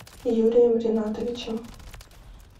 юрием ринатовичем